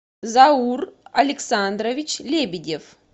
заур александрович лебедев